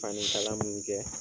Fani kala mun kɛ